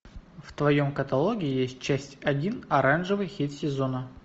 в твоем каталоге есть часть один оранжевый хит сезона